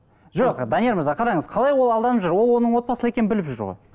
жоқ данияр мырза қараңыз қалай ол алданып жүр ол оның отбасылы екенін біліп жүр ғой